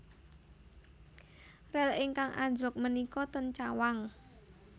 Rel ingkang anjlok menika ten Cawang